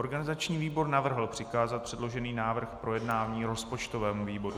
Organizační výbor navrhl přikázat předložený návrh k projednání rozpočtovému výboru.